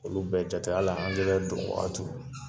Olu bɛ jate hali donwaatiw